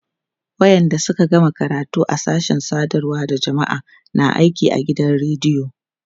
wayanda Suka gama karatu a sashen sadarwa da jamma'a na aiki a gidan radiyo